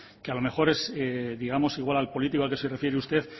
que a lo mejor es digamos igual al político que se refiere usted